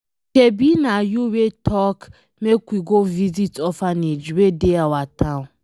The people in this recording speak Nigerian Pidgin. Shebi na you wey talk make we go visit orphanage wey dey our town